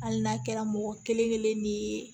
Hali n'a kɛra mɔgɔ kelen kelen ni ye